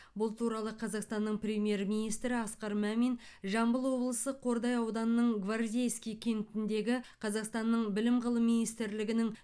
бұл туралы қазақстанның премьер министрі асқар мамин жамбыл облысы қордай ауданының гвардейский кентіндегі қазақстанның білім ғылым министрлігінің